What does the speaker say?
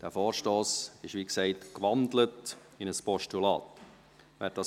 Dieser Vorstoss wurde, wie gesagt, in ein Postulat gewandelt.